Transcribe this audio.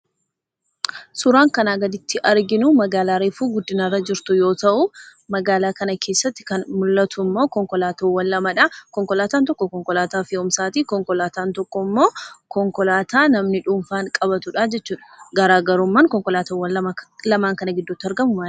Suuraan asii gaditti arginuu magaalaa reefu guddinarra jirtu yoo ta'u magaalaa kana keessatti kan mul'atuummoo konkolaatoowwan lamadhaa konkolataa tokko konkolaataa fe'umsaatii, konkolaataan tokkommoo konkolaataa namni dhuunfaan qabatudha jechuudha. Garaagarummaan konkolaattota kana lamaan gidduutti argamu maalidha?